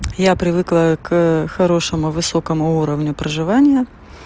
я привыкла к хорошему высокому уровню проживания